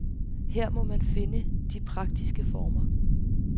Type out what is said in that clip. Her må man finde de praktiske former.